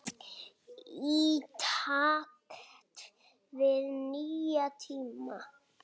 Í takt við nýja tíma.